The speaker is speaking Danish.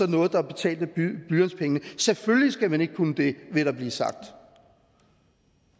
noget der er betalt af blyantspengene selvfølgelig skal man ikke kunne det vil der blive sagt